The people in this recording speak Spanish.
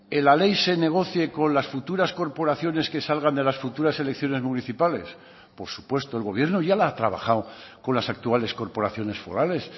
en la ley se negocie con las futuras corporaciones que salgan de las futuras elecciones municipales por supuesto el gobierno ya la ha trabajado con las actuales corporaciones forales